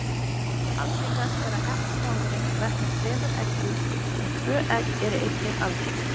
Algengast er að hettumávurinn verpir þremur eggjum en tvö egg eru einnig algeng.